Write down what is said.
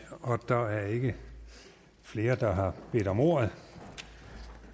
og der er ikke flere der har bedt om ordet